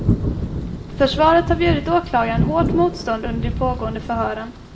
Försvaret har bjudit åklagaren hårt motstånd under de pågående förhören.